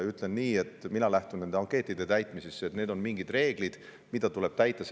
Ütlen nii, et mina lähtun neid ankeete täites, et need on mingid reeglid, mida tuleb täita.